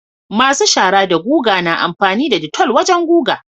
masu shaara da guga na amfani da detol wajan guga